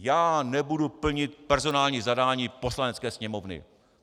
Já nebudu plnit personální zadání Poslanecké sněmovny!